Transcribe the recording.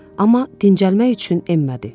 Amma dincəlmək üçün enmədi.